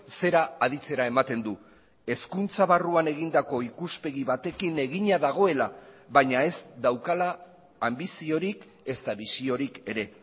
zera aditzera ematen du hezkuntza barruan egindako ikuspegi batekin egina dagoela baina ez daukala anbiziorik ezta bisiorik ere